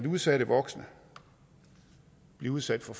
udsatte voksne bliver udsat for